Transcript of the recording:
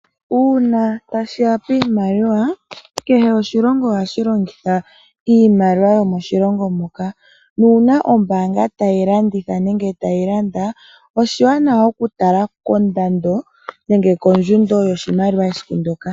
Uuna tashiya piimaliwa, kehe oshilongo ohashi longitha iimaliwa yomoshilongo moka, nuuna ombaanga tayi landitha nenge tayi landa, oshiwanawa okutala kondando nenge kondjundo yoshimaliwa esiku ndyoka.